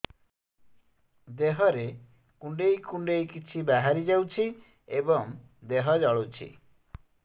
ଦେହରେ କୁଣ୍ଡେଇ କୁଣ୍ଡେଇ କିଛି ବାହାରି ଯାଉଛି ଏବଂ ଦେହ ଜଳୁଛି